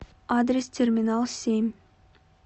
адрес терминал семь